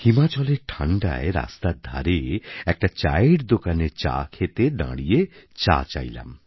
হিমাচলের ঠাণ্ডায় রাস্তার ধারে একটা চায়ের দোকানে চা খেতে দাঁড়িয়ে চা চাইলাম